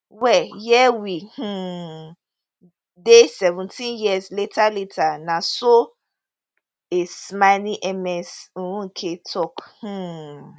well here we um dey seventeen years later later na so a smiling ms nweke tok um